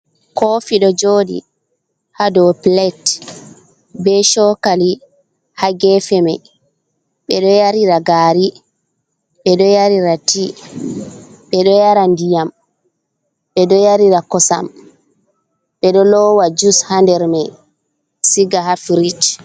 kofi do jodi hado pilet be chokali ha gefe mai, be do yarira gari, be do yarira ti, bedo yara ndiyam, be do yarira kosam, be do lowa jus ha nder mai siga firij